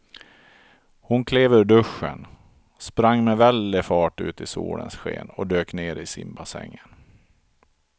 Hon klev ur duschen, sprang med väldig fart ut i solens sken och dök ner i simbassängen.